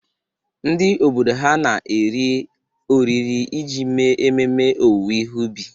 Ndị obodo ha na-eri oriri iji mee ememe owuwe ihe ubi.